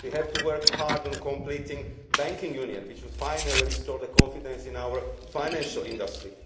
We have to work hard to complete banking union, which would finally restore confidence in our financial industry.